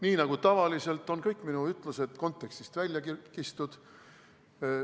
Nii nagu tavaliselt on kõik minu ütlused kontekstist välja kistud.